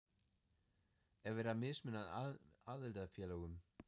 Er verið að mismuna aðildarfélögum?